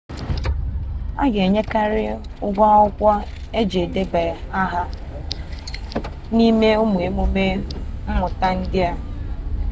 a ga-enwekarị ụgwọ akwụkwọ iji debanye aha n'ime ụmụ emume mmụta ndị a